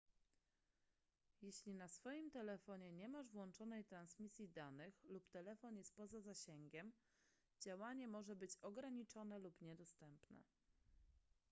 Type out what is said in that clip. jeśli na swoim telefonie nie masz włączonej transmisji danych lub telefon jest poza zasięgiem działanie może być ograniczone lub niedostępne